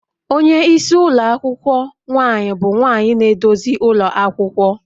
Onye isi ụlọ akwụkwọ nwaanyị bụ nwanyị na-eduzi ụlọ akwụkwọ